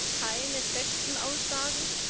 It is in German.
Es gibt keine festen Aussagen.